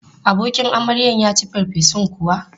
Abokin amarya ya ci mutane barkonon kuwa?